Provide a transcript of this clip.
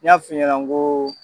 N y'a f'i ɲɛna n ko